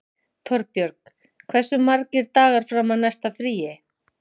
Torbjörg, hversu margir dagar fram að næsta fríi?